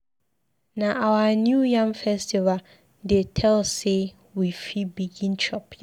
Na our New Yam Festival dey tell sey we fit begin chop yam.